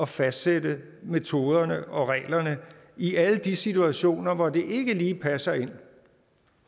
fastsætte metoderne og reglerne i alle de situationer hvor det ikke lige passer ind